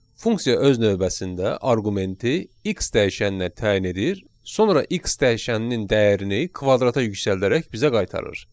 Funksiya öz növbəsində arqumenti x dəyişəninə təyin edir, sonra x dəyişəninin dəyərini kvadrata yüksəldərək bizə qaytarır.